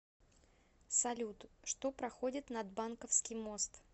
салют что проходит над банковский мост